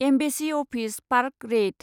embassy office park रेइत